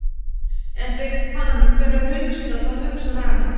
En þegar hann fer að hugsa, þá hugsar hann